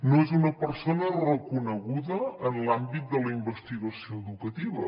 no és una persona reconeguda en l’àmbit de la investigació educativa